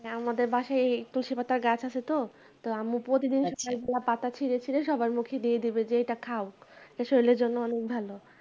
হ্যাঁ আমাদের বাসায় এই তুলসী পাতার গাছ আছে তো তো আম্মু প্রতিদিন আমি পাতা ছিঁড়ে ছিঁড়ে সবার মুখে দিয়ে দেবে যে এটা খাও